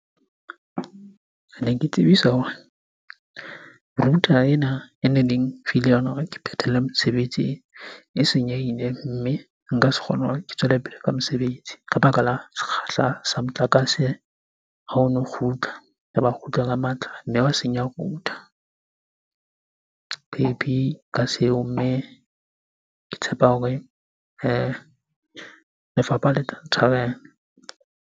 Kene ke tsebisa hore router ena ene le mphile yona hore ke phethele mosebetsi e senyehile. Mme nka se kgone hore ke tswele pele ka mosebetsi ka baka la sekgahla sa motlakase ha o no kgutla kgutla ka matla, mme wa senya router. Phephi ka seo mme, ke tshepa hore lefapha le tla ntshwarela.